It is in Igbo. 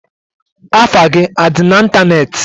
Afa gi adi na Ịntanetị?